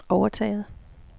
overtaget